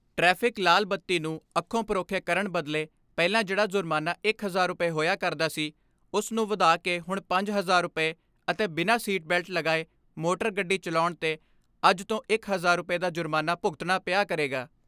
Traffic ਲਾਲ ਬੱਤੀ ਨੂੰ ਅੱਖੋਂ ਪਰੋਖੇ ਕਰਣ ਬਦਲੇ ਪਹਿਲਾ ਜਿਹੜਾ ਜੁਰਮਾਨਾ ਇੱਕ ਹਜਾਰ ਰੁਪਏ ਹੋਇਆ ਕਰਦਾ ਸੀ, ਉਸ ਨੂੰ ਵਧਾ ਕੇ ਹੁਣ ਪੰਜ ਹਜਾਰ ਰੁਪਏ ਅਤੇ ਬਿਨਾ ਸੀਟ ਬੈਲਟ ਲਗਾਏ ਮੋਟਰ ਗੱਡੀ ਚਲਾਉਣ ਤੇ ਅੱਜ ਤੋਂ ਇੱਕ ਹਜਾਰ ਰੁਪਏ ਦਾ ਜੁਰਮਾਨਾ ਭੁਗਤਣਾ ਪਿਆ ਕਰੇਗਾ।